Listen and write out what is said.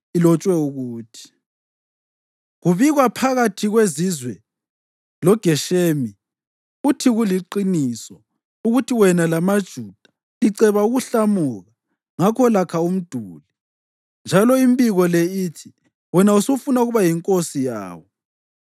ilotshwe ukuthi: “Kubikwa phakathi kwezizwe loGeshemi uthi kuliqiniso ukuthi wena lamaJuda liceba ukuhlamuka, ngakho lakha umduli. Njalo, imbiko le ithi wena usufuna ukuba yinkosi yawo